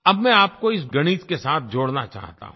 अब मैं आपको इस गणित के साथ जोड़ना चाहता हूँ